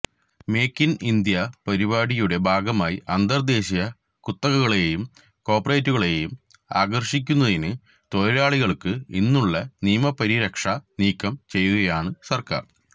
make in India പരിപാടിയുടെ ഭാഗമായി അന്തര്ദേശീയ കുത്തകകളെയും കോര്പറേറ്റുകളെയും ആകര്ഷിക്കുന്നതിന് തൊഴിലാളികള്ക്ക് ഇന്നുള്ള നിയമപരിരക്ഷ നീക്കം ചെയ്യുകയാണ് സര്ക്കാര്